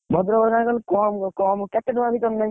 ଭଦ୍ରକରେ କମ୍ କମ୍ କେତେ ଟଙ୍କା ଭିତରେ ନେବି?